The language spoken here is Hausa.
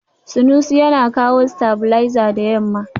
Sanusi yana kawo stabilizer da yamma.